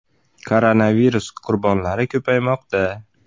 Koronavirus qurbonlari ko‘paymoqda.